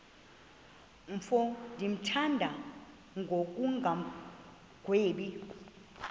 mfo ndimthanda ngokungagwebi